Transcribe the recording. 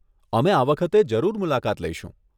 અમે આ વખતે જરૂર મુલાકાત લઈશું.